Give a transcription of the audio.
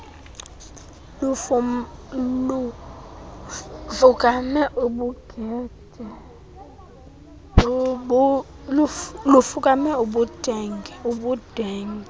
lufukame ubudenge ubudenge